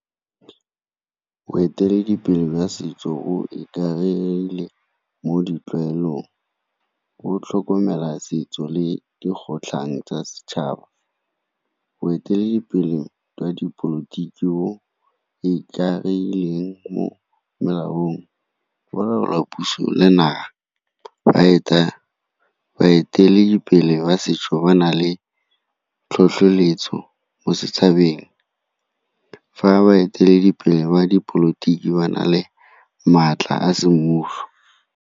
Boeteledipele jwa setso bo ikaegile mo ditlwaelong, bo tlhokomela setso le dikgotlhang tsa setšhaba. Boeteledipele jwa dipolotiki o ikaegileng mo molaong go laola puso le naha. Baeteledipele ba setso ba na le tlhotlheletso mo setšhabeng, fa baeteledipele wa dipolotiki ba na le maatla a semmuso.